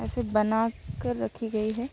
ऐसे बना कर रखी गई है।